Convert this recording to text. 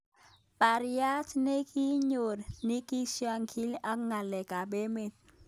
Parriat nenyineot nikiushanigei ak ng'alek ab emet.